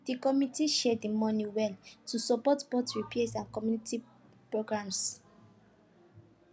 the committee share the money well to support both repairs and community programs